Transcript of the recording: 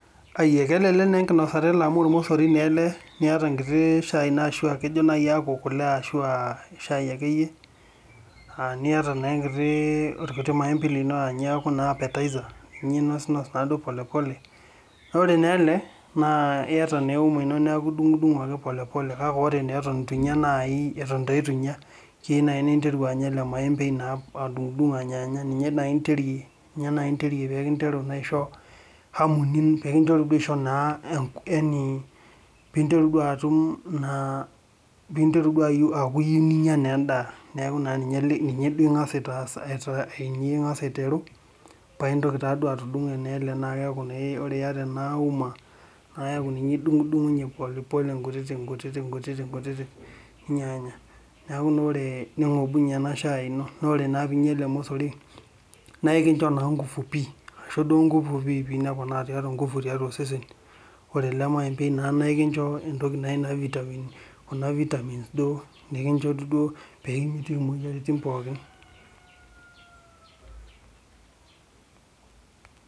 Ai akelelek naa enkinosata ele amu olmosori naa ele niata enkiti shai ashuu akaakejo naayi aaku kule ashu aashu kule akeyie, niata naa inkiti olkiti maembei lino aaninye naa ooku appetizer ninosinos naaduo pole pole, ore naa ele niata naa euma ino neeku idunkdunk ake pole pole kake naa eton itu inya naayi eton taa itu nya naayi ninteru anya ele maembei naa adunkdunk anyaanya ninye nai interie peekinteru nai aisho hamu ninteru naaduo aisho yaani peeinteru duo atum peeinteru duo aaku iyieu ninya naa endaa, neeku ninye inkas aiteru paaintoki atudunko naa ele. Ore naa iyata ena uma neeku ninye idunkdunkunyie pole pole inkutiti nkuti nyaanya, neeku naa ore nonkobinyie ena shai ino. Naa ore naa piinya ele mosori naa ekinjo naa inkufu pii aisho duo inkufu piipik neeku neponaa inkufu tiatua osesen, ore ele maembei naa enkijo naa entoki naji vitamin duo peeidimu imoyiaritin pookin.